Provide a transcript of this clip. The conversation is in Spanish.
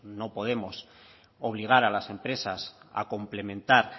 no podemos obligar a las empresas a complementar